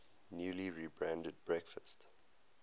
newly rebranded breakfast